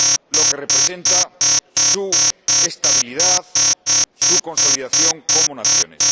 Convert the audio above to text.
lo que representa su estabilidad, su consolidación como naciones.